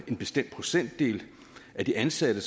en bestemt procentdel af de ansatte